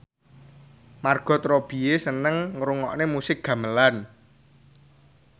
Margot Robbie seneng ngrungokne musik gamelan